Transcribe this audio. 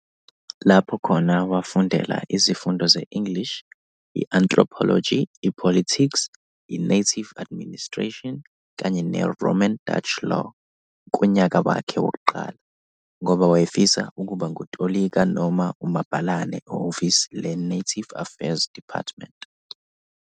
Lapho khona, wafundela izifundo ze-English, i-anthropology, i-politics, i-native administration, kanye ne-Roman Dutch law kunyaka wakhe wokuqala, ngoba wayefisa ukuba ngutolika noma umabhalane ehhovisi le-Native Affairs Department.